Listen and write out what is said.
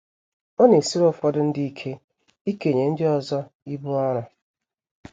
Ọ na - esiri ụfọdụ ndị ike ikenye ndị ọzọ ibu ọrụ.